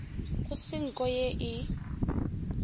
go se nko ye e